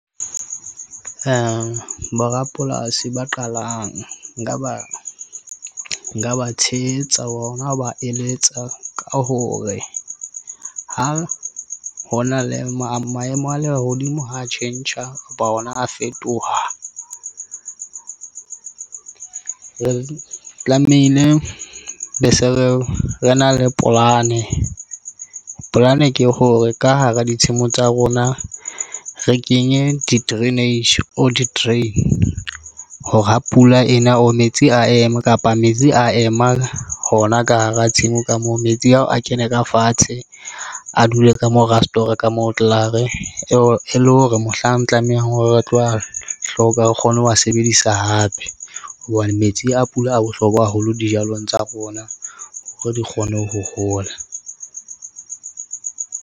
Bo borapolasi ba qalang nka ba tshehetsa ona, ho ba eletsa ka hore ha ho na le maemo a lehodimo ho tjhentjha kapa ona a fetoha. Re tlamehile be se re na le polane. Polane ke hore ka hara ditshimo tsa rona re kenye di- drainage, or di- drain hore ha pula ena o metsi, a ema kapa metsi a ema hona ka hara tshimo ka moo metsi ao a kene ka fatshe, a dule ka mo re a store ka moo e tlare e le hore mohlang tlamehang hore re tlo a hloka re kgone ho wa sebedisa hape hobane metsi a pula a bohlokwa haholo dijalong tsa rona hore di kgone ho hola.